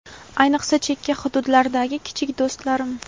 ayniqsa chekka hududlardagi kichik do‘stlarim.